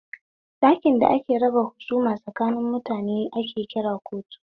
Ɗakin da ake raba husuma tsakanin mutane ake cewa kotu